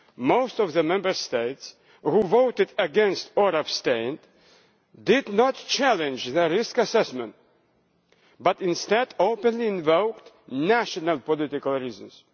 Most of the Member States who voted against or abstained did not challenge the risk assessment, but instead openly invoked national political reasons.